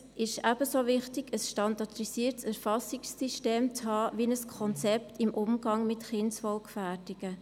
Es ist ebenso wichtig, ein standardisiertes Erfassungssystem zu haben wie ein Konzept im Umgang mit Kindeswohlgefährdungen.